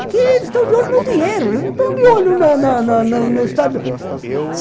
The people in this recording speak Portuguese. Porque eles estão de olho no dinheiro, eles não estão de olho na na na na no Estado.